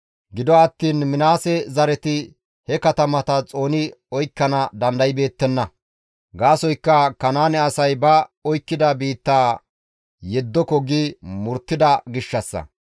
Gido attiin Minaase zareti he katamata xooni oykkana dandaybeettenna. Gaasoykka Kanaane asay ba oykkida biittaa yeddoko gi murttida gishshassa.